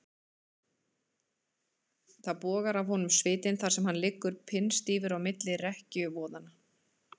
Það bogar af honum svitinn þar sem hann liggur pinnstífur á milli rekkjuvoðanna.